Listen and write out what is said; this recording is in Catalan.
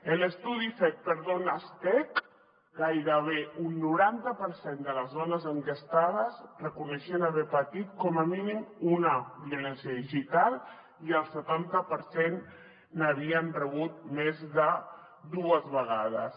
en l’estudi fet per donestech gairebé un noranta per cent de les dones enquestades reconeixien haver patit com a mínim una violència digital i el setanta per cent n’havien rebut més de dues vegades